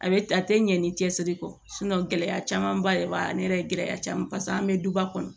A bɛ a tɛ ɲɛ ni cɛsiri kɔ gɛlɛya camanba de b'a la ne yɛrɛ ye gɛlɛya caman paseke an bɛ duba kɔnɔ